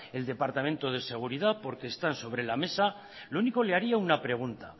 el departamento de seguridad porque están sobre la mesa lo único le haría una pregunta